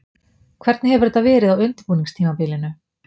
Hvernig hefur þetta verið á undirbúningstímabilinu?